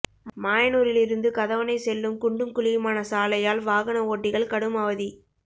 மாயனூரில் இருந்து கதவணை செல்லும் குண்டும் குழியுமான சாலையால் வாகன ஓட்டிகள் கடும் அவதி